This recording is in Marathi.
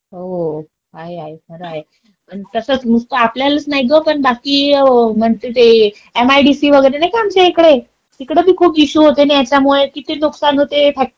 हो, हो, आहे, आहे खरं आहे. अन तसंच नुसता आपल्यालाच नाही ग पण बाकी म्हणते ते एमआयडीसी वगैरे नाही का आमच्या इकडे. तिकडे बी खूप इशू होते न याच्यामुळे, किती नुकसान होते,